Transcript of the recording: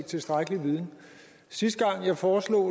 tilstrækkelig viden sidste gang jeg foreslog